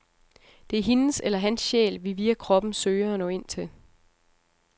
Det er hendes eller hans sjæl, vi via kroppen søger at nå ind til.